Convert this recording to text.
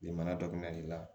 Nin mana daminɛ